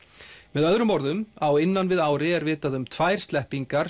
með öðrum orðum á innan við ári er vitað um tvær sleppingar